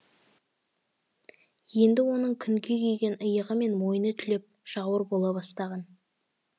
енді оның күнге күйген иығы мен мойны түлеп жауыр бола бастаған